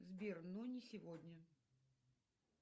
сбер но не сегодня